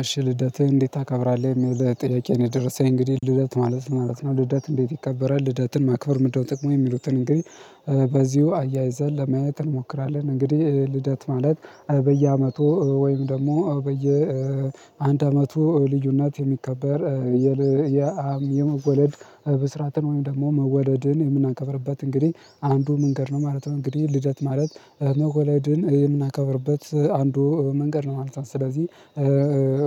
አሽ ልደትህን እንዴት ታከብራለህ የሚል ጥያቄ ነው የደረሰኝ እንግዲህ ልደት ማለት ማለት ነው ልደት እንዴት ይከበራል ልደትን ማክበር ምንድነው? ጥቅሙ የሚሉትን እንግዲህ በዚሁ አያይዘን ለማየት እንሞክራለን። እንግዲህ ልደት ማለት በየአመቱ ወይም ደግሞ በየ አንድ አመቱ ልዩነት የሚከበር የመወለድ ብስራትን ወይም ደግሞ መወደድን የምናከብርበት እንግዲህ አንዱ መንገድ ነው ማለት ነው። እንግዲህ ልደት ማለት መወለድን የምናከብርበት አንዱ መንገድ ነው ማለት ነው። ስለዚህ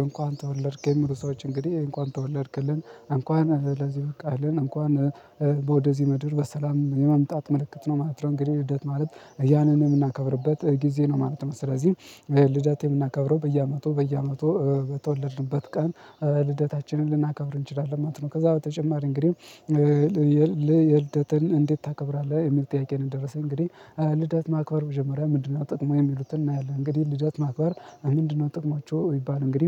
እንኳን ተወለድክ የሚሉ ሰዎች እንግዲህ እንኳን ተወለድክልን እንኳን ለዚህ ብቃህልን እንኳን በወደዚህ ምድር በሰላም የመምጣት ምልክት ነው ማለት ነው። እንግዲህ ልደት ማለት ያንን የምናከብርበት ጊዜ ነው ማለት ነው። ስለዚህ ልደት የምናከብረው በየአመቱ በየአመቱ በተወለድንበት ቀን ልደታችንን ልናከብር እንችላለን ማለት ነው። ከዛ በተጨማሪ እንግዲህ ልየተን እንዴት ታከብራለህ የሚል ጥያቄ ነው የደረሰኝ እንግዲህ ልደት ማክበር መጀመሪያ ምንድነው? ጥቅሙ የሚሉትን እናያለን እንግዲህ ልደት ማክበር ምንድነው ጠቅሟቸው ይባል እንግዲህ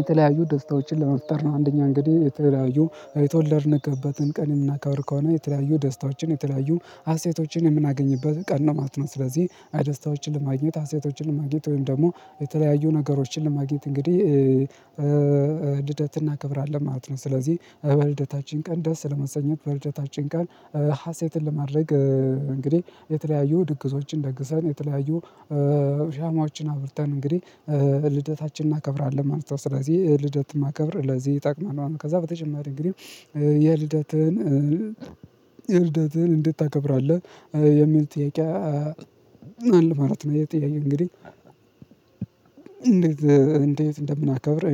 የተለያዩ ደስታዎችን ለመፍጠር ነው። አንደኛ እንግዲህ የተለያዩ የተወለድነበትን ቀን የምናከብር ከሆነ የተለያዩ ደስታዎችን የተለያዩ ሀሴቶችን የምናገኝበት ቀን ነው ማለት ነው። ስለዚህ አይ ደስታዎችን ለማግኘት ሀሴቶችን ለማግኘት ወይም ደግሞ የተለያዩ ነገሮችን ለማግኘት እንግዲህ እናከብራለን ማለት ነው። ስለዚህ በልደታችን ቀን ደስ ለመሰኘት በልደታችን ቀን ሀሴትን ለማድረግ እንግዲህ የተለያዩ ድግሶችን ደግሰን የተለያዩ ሻማዎችን አብርተን እንግዲህ ልደታችን እናከብራለን ማለት ነው። ስለዚህ ልደት ማከብር ለዚህ ይጠቀመናል ከዛ በተጨማሪ እንግዲህ የልደት የልደትህን እንዴት ታከብራለህ የሚል ጥያቄ አለ ማለት ነው። ይሄ ጥያቄ እንግዲህ እንዴት እንደምናከብር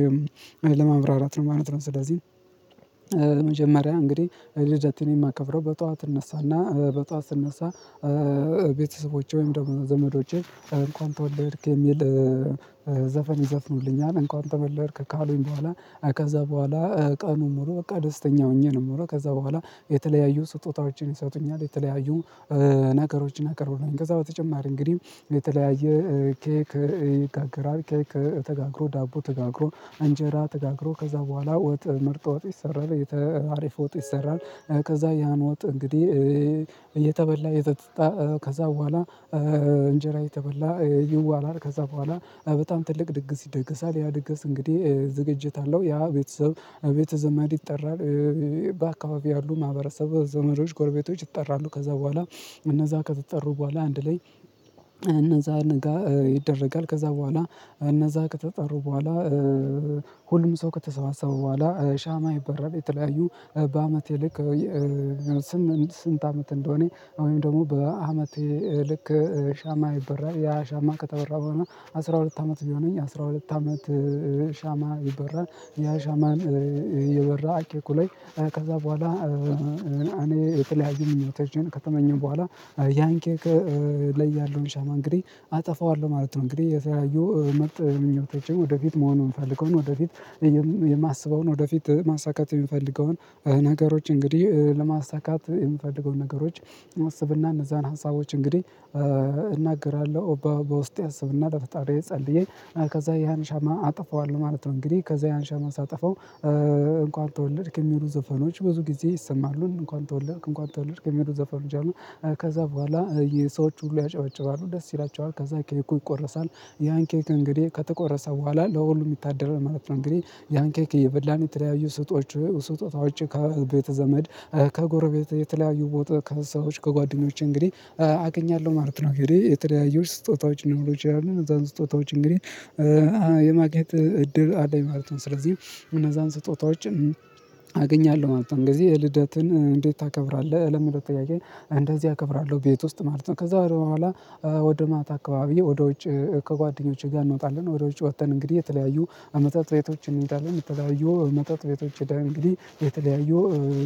ለማብራራት ነው ማለት ነው። ስለዚህ መጀመሪያ እንግዲህ ልደትን የማከብረው በጠዋት እነሳና በጠዋት ስነሳ ቤተሰቦቼ ወይም ደግሞ ዘመዶቼ እንኳን ተወለድክ የሚል ዘፈን ይዘፍኑልኛል። እንኳን ተወለድክ ካሉኝ በኋላ ከዛ በኋላ ቀኑን ሙሉ በቃ ደስተኛ ሆኜ ነው የምለው ከዛ በኋላ የተለያዩ ስጦታዎችን ይሰጡኛል የተለያዩ ነገሮችን ያቀርቡልኛል። ከዛ በተጨማሪ እንግዲህ የተለያየ ኬክ ይጋገራል ኬክ ተጋግሮ ዳቦ ተጋግሮ እንጀራ ተጋግሮ ከዛ በኋላ ወጥ ምርጥ ወጥ ይሰራል የተ አሪፍ ወጥ ይሰራል። ከዛ ያን ወጥ እንግዲህ እየተበላ እየተጠጣ ከዛ በኋላ እንጀራ እየተበላ ይዋላል። ከዛ በኋላ በጣም ትልቅ ድግስ ይደገሳል ያ ድግስ እንግዲህ ዝግጅት አለው ያ ቤተሰብ ቤተዘመድ ይጠራል በአካባቢው ያሉ ማህበረሰብ ዘመዶች ጎርቤቶች ይጠራሉ። ከዛ በኋላ እነዛ ከተጠሩ በኋላ አንድ ላይ እነዛ ነገ ይደረጋል ከዛ በኋላ እነዛ ከተጠሩ በኋላ ሁሉም ሰው ከተሰባሰበ በኋላ ሻማ ይበራል። የተለያዩ በአመቴ ልክ ስምንት ስንት አመት እንደሆነኝ ወይም ደግሞ በአመቴ ልክ ሻማ ይበራል። ያ ሻማ ከተበራ በኋላ አስራ ሁለት አመት ቢሆነኝ አስራ ሁለት አመት ሻማ ይበራ ያ ሻማ ይበራ ኬኩ ላይ ከዛ በኋላ እኔ የተለያየ ምኞቶችምከተመኘሁ በኋላ ያን ኬክ ላይ ያለውን ሻማ እንግዲህ አጠፋዋለሁ ማለት ነው። እንግዲህ የተያዩ መጥ ምኞቶቼን ወደፊት መሆን የምፈልገውን ወደፊት የማስበውን ወደፊት ማሳካት የምፈልገውን ነገሮች እንግዲህ ለማሳካት የምፈልገው ነገሮች አስብና እነዛን ሀሳቦች እንግዲህ እናገራለሁ በውስጤ አስብና በፈጣሪዬ ጸልዬ ከዛ ያን ሻማ አጥፈዋለሁ ማለት ነው። እንግዲህ ከዛ ያን ሻማ ሳጠፋው እንኳን ተወለድክ የሚሉ ዘፈኖች ብዙ ጊዜ ይሰማሉ እንኳን ተወለድክ እንኳን ተወለድክ የሚሉ ዘፈኖች አሉ። ከዛ በኋላ ሰዎች ሁሉ ያጨባጭባሉ ደስ ይላቸዋል ከዛ ኬኩ ይቆረሳል ያን ኬክ እንግዲህ ከተቆረሰ በኋላ ለሁሉም ይታደላል ማለት ነው። እንግዲህ ያን ኬክ እየበላን የተለያዩ ስጦታዎቼ ከቤተ ዘመድ ከጎረቤት የተለያዩ ቦታ ከሰዎች ከጓደኞቼ እንግዲህ አገኛለሁ ማለት ነው። እንግዲህ የተለያዩ ስጦታዎች ሊኖሩ ይችላሉ እነዛን ስጦታዎች እንግዲህ የማግኘት እድል አለኝ ማለት ነው። ስለዚህ እነዛን ስጦታዎችን አገኛለሁ ማለት ነው። ጊዜ የልደትን እንዴት ታከብራለህ ለሚለው ጥያቄ እንደዚህ አከብራለሁ ቤት ውስጥ ማለት ነው። ከዛ በኋላ ወደ ማታ አካባቢ ወደ ውጭ ከጓደኞቼ ጋር እንወጣለን ወደ ውጭ ወጠን እንግዲህ የተለያዩ ከመጠጥ ቤቶች እንሄዳለን ከተለያዩ መጠጥ ቤቶች ሄደን እንግዲህ የተለያዩ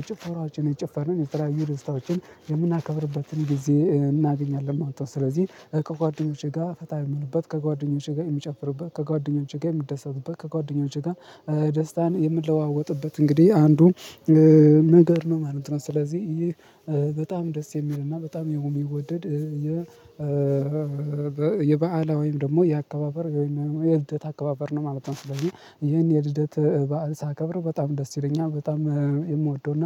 ጭፈራዎችን እንጨፍራለን የተለያዩ ደስታዎችን የምናከብርበትን ጊዜ እናገኛለን ማለት ነው። ስለዚህ ከጓደኞቼ ጋር ፈታ የምልበት ከጓደኞቼ ጋር የምጨፍርበት ከጓደኞቼ ጋር የምደሰትበት ከጓደኛው ጋር ደስታን የምለዋወጥበት እንግዲህ አንዱ ነገር ነው ማለት ነው። ስለዚህ ይህ በጣም ደስ የሚልና በጣም የሚወደድ የባዕላዊ ወይም ደግሞ የአከባበር ወይም የልደት አከባበር ነው ማለት ነው። ስለዚህ ይሄን የልደት በዓል ሳከብር በጣም ደስ ይለኛል በጣም የምወደውና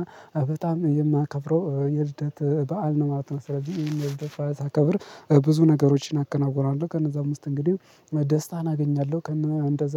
በጣም የማከብረው የልደት በዓል ነው ማለት ነው። ስለዚህ ይሄን የልደህ በዓል ሳከብር ብዙ ነገሮችን አከናውናለሁ ከነዛም ውስጥ እንግዲህ ደስታን አገኛለሁ ከነ እንደዛ